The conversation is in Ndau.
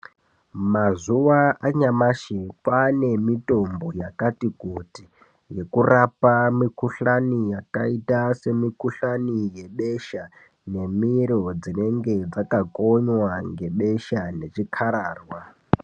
Mazuva anyamashi kwane mitombo yakati kuti. Yekurapa mikuhlani yakaita semikuhlani yebesha nemiro dzinenge dzakakonywa ngebesha ngechikararwa.